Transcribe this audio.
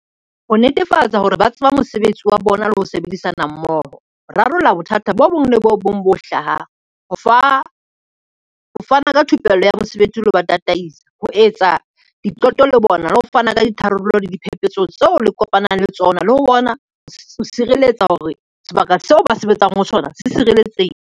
Ho netefatsa hore ba tseba mosebetsi wa bona le ho sebedisana mmoho, ho rarolla bothata bo bong le bo bong bo hlahang, ho fana ka thupello ya mosebetsi lo patala tataisa, ho etsa diqeto le bona le ho fana ka ditharollo le diphephetso tseo le kopanang le tsona le ho bona ho sireletsa hore sebaka seo ba sebetsang ho sona se sireletsehe.